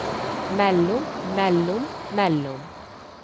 mellom mellom mellom